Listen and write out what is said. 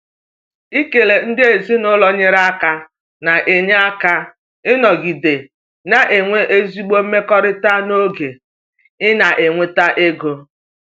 Ikele ndị ezinụlọ nyere aka na-enye aka ịnọgide na-enwe ezigbo mmekọrịta n’oge ị na-enweta ego.